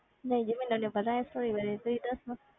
ਨਹੀਂ ਜੀ ਮੈਨੂੰ ਨੀ ਪਤਾ ਇਹ story ਬਾਰੇ ਤੁਸੀਂ ਦੱਸੋ